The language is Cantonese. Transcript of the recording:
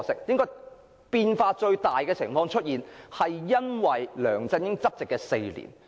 不過，最大變化見於梁振英執政的4年間。